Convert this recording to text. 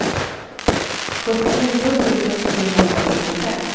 sjuttionio tusen sjuhundrafyrtiofem